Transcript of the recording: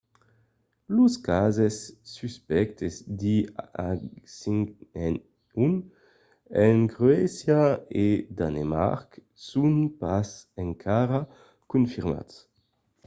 los cases suspèctes de h5n1 en croàcia e danemarc son pas encara confirmats